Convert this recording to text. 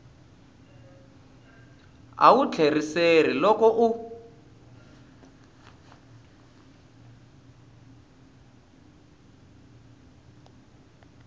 a wu tlheriseli loko u